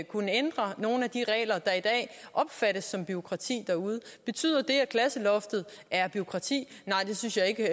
kunne ændre nogle af de regler der i dag opfattes som bureaukratiske derude betyder det at klasseloftet er bureaukratisk nej det synes jeg ikke